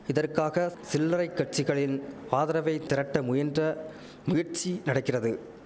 இதற்காக சில்லரைக் கட்சிகளின் ஆதரவை திரட்ட முயன்ற முயற்சி நடக்கிறது